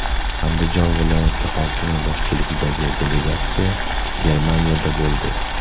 Andijon viloyat hokimi boshchiligidagi delegatsiya Germaniyada bo‘ldi.